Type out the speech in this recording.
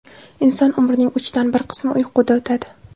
Inson umrining uchdan bir qismi uyquda o‘tadi.